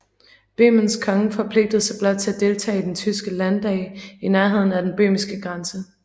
Bøhmens konge forpligtede sig blot til at deltage i den tyske landdag i nærheden af den bøhmiske grænse